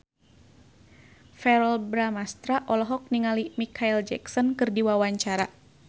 Verrell Bramastra olohok ningali Micheal Jackson keur diwawancara